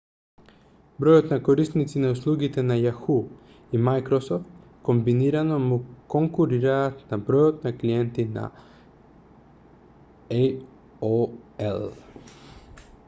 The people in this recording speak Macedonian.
бројот на корисници на услугите на yahoo и microsoft комбинирано му конкурираат на бројот на клиенти на aol